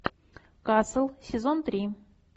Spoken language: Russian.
касл сезон три